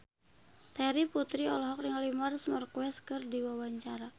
Terry Putri olohok ningali Marc Marquez keur diwawancara